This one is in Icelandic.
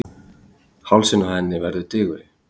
Hálsinn á henni verður digurri.